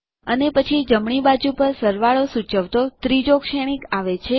અને પછી જમણી બાજુ પર સરવાળો સૂચવતો ત્રીજો શ્રેણીક આવે છે